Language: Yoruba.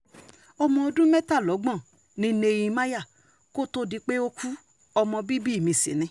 ọmọ ọdún mẹ́tàlọ́gbọ̀n ni nehemiah kò tóó di pé ó ku ọmọ bíbí mi sí ni